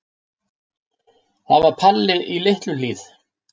Það var Palli í Litlu-Hlíð.